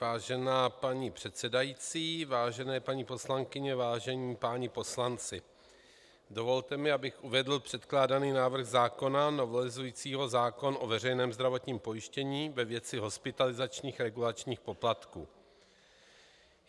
Vážená paní předsedající, vážené paní poslankyně, vážení páni poslanci, dovolte mi, abych uvedl předkládaný návrh zákona novelizující zákon o veřejném zdravotním pojištění ve věci hospitalizačních regulačních poplatků.